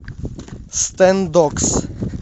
стэндокс